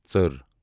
ژٔر